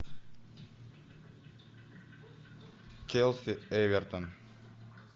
челси эвертон